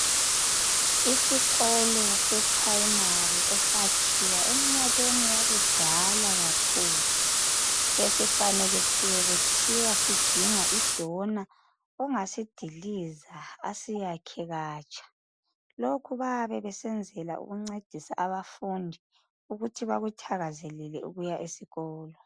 Isikolo seprimary esakhiwa eminyakeni yakudala kakhulu ,besifanekisiwe kuthiwa sidinga idona ongasidiliza asiyakhe katsha. Lokhu bayabe besenzela ukuncedisa abafundi ukuthi bakuthakazelele ukuya esikolo.